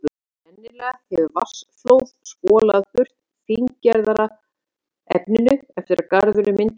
Sennilega hefur vatnsflóð skolað burt fíngerðara efninu eftir að garðurinn myndaðist.